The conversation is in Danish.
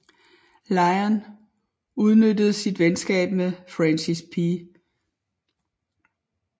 Lyon udnyttede sit venskab med Francis P